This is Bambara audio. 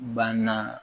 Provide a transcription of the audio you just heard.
Banna